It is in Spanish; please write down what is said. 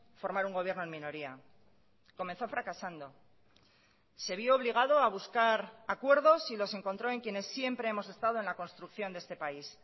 formar un gobierno en minoría comenzó fracasando se vio obligado a buscar acuerdos y los encontró en quienes siempre hemos estado en la construcción de este país